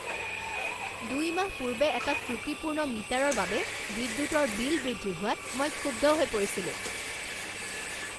দুই মাহ পূৰ্বে এটা ত্ৰুটিপূৰ্ণ মিটাৰৰ বাবে বিদ্যুতৰ বিল বৃদ্ধি হোৱাত মই ক্ষুব্ধ হৈ পৰিছিলোঁ।